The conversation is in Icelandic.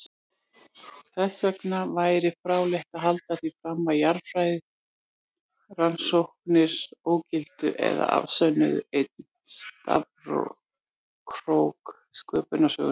Þessvegna væri fráleitt að halda því fram að jarðfræðirannsóknir ógiltu eða afsönnuðu einn stafkrók sköpunarsögunnar.